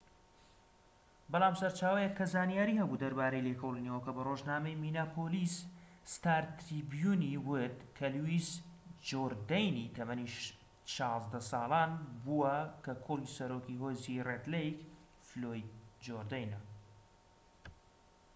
بەڵام سەرچاوەیەک کە زانیاری هەبوو دەربارەی لێکۆڵینەوەکە بە ڕۆژنامەی مینیاپۆلیس ستار تریبیون ی وت کە لویس جۆردەینی تەمەن ١٦ ساڵان بووە کە کوڕی سەرۆکی هۆزی ڕێد لەیک، فلۆید جۆردەینە